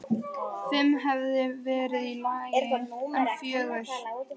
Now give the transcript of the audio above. Fimm hefði verið í lagi, en fjögur?!?!?